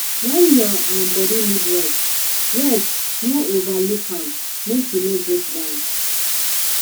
when your um body need rest rest no overlook am make you no breakdown